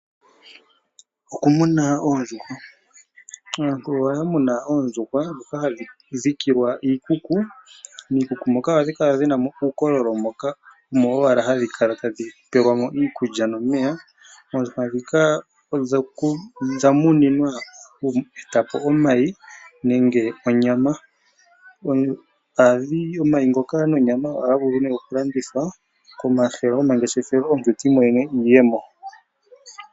Okumuna oondjuhwa. Aantu oya muna oondjuhwa dhoka hadhi dhikilwa iikuku. Miikuku moka ohadhi kala dhina uukololo moka hadhikala tadhi pelwamo iikutya nomeya. Oondjuhwa dhika odha muninwa oku eta po omayi nenge onyama. Omayi ngoka nonyama ohadhi vulu okulandithwa momahala ngoshefelo ndele omuntu ta imonene iiyemo.